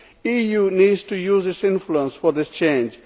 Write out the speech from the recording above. The EU needs to use its influence for this change.